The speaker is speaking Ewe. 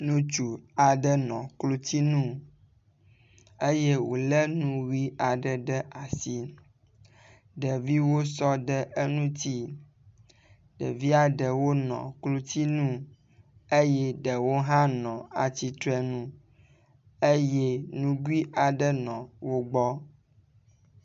Ŋutsu aɖe nɔ klotsinu eye wo le nu ʋi aɖe ɖe asi. Ɖeviwo sɔ ɖe eŋutsi. Ɖevia ɖewo nɔ klotsinu eye ɖewo hã nɔ atsitre nu eye nugui aɖe nɔ wo gbɔ.